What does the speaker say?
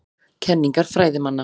Kenningar fræðimanna.